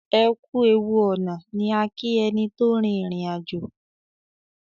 ẹkú ẹwù ọnà ní a ki ẹní tó rin ìrìn àjò.